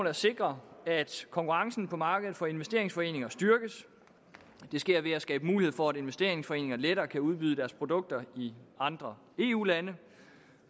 at sikre at konkurrencen på markedet for investeringsforeninger styrkes det sker ved at skabe mulighed for at investeringsforeninger lettere kan udbyde deres produkter i andre eu lande